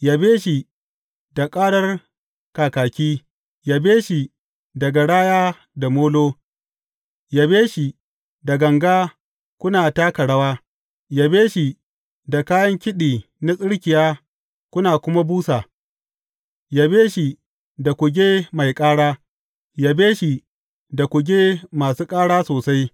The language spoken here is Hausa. Yabe shi da ƙarar kakaki, yabe shi da garaya da molo, yabe shi da ganga kuna taka rawa, yabe shi da kayan kiɗi na tsirkiya kuna kuma busa, yabe shi da kuge mai ƙara, yabe shi da kuge masu ƙara sosai.